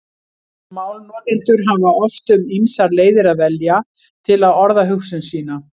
Málnotendur hafa oft um ýmsar leiðir að velja til að orða hugsun sína.